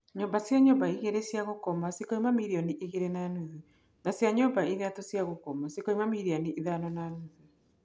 Nyũmba cia nyũmba igĩrĩ cia gũkoma cikauma mirioni igĩrĩ na nuthu, na cia nyũmba ithatũ cia gũkoma cikauma mirioni ithano na nuthu.